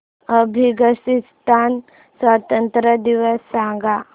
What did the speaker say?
अफगाणिस्तान स्वातंत्र्य दिवस सांगा